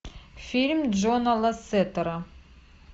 фильм джона лассетера